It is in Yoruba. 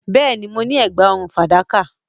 Yes, I have a silver necklace